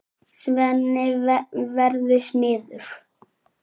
Svenni verður smiður.